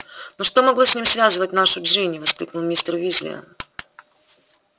но что могло с ним связывать нашу джинни воскликнул мистер уизли